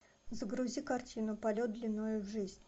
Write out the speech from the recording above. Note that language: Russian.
загрузи картину полет длиною в жизнь